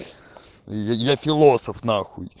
я филосов нахуй